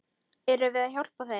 Erum við að hjálpa þeim?